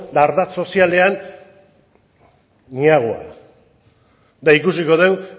ba ardatz sozialean ni agua eta ikusiko dugu